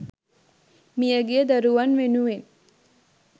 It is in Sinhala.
මියගිය දරුවන් වෙනුවෙන්